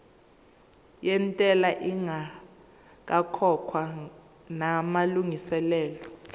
yentela ingakakhokhwa namalungiselo